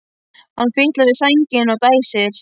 Hann fitlar við sængina og dæsir.